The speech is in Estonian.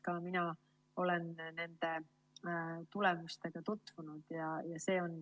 Ka mina olen nende tulemustega tutvunud.